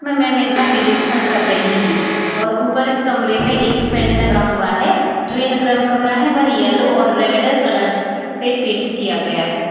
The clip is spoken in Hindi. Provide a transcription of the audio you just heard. मै मैम इनका निरीक्षण कर रहीं हैं और ऊपर इस कमरे में एक फैन लगा हुआ है जो यह कम कमरा है वह येलो और रेड कलर से पेंट किया गया है।